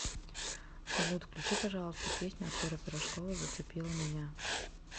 салют включи пожалуйста песню артура пирожкова зацепила меня